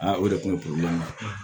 o de kun ye